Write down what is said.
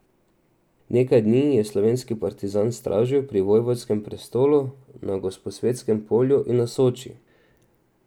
Nekaj dni je slovenski partizan stražil pri vojvodskem prestolu na Gosposvetskem polju in na Soči.